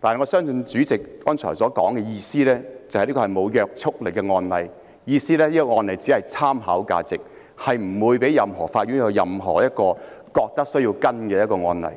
但我相信主席剛才的意思是，這是無約束力的案例，即是這個案例只有參考價值，任何法院均不會認為有需要跟進。